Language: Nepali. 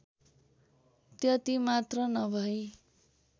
त्यतिमात्र नभई